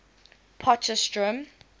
potchefstroom